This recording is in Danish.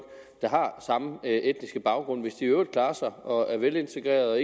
der har samme etniske baggrund hvis de i øvrigt klarer sig og er velintegrerede og